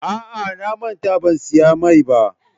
A'a, na manta ban siya mai ba.